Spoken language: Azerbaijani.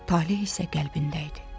Taleh isə qəlbində idi.